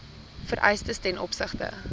vereistes ten opsigte